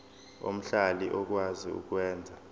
omhlali okwazi ukwenza